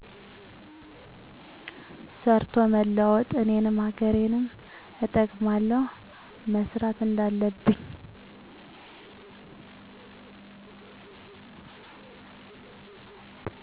ሰርቶ መለወጥ። እኔንም ሀገሬንም እጠቅማለሁ። መሰራት እንዳለብኝ